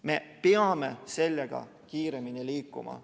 Me peame sellega kiiremini liikuma.